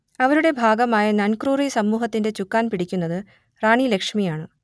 അവരുടെ ഭാഗമായ നൻക്രുറി സമൂഹത്തിന്റെ ചുക്കാൻ പിടിക്കുന്നത് റാണി ലക്ഷ്മിയാണ്